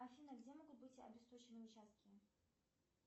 афина где могут быть обесточены участки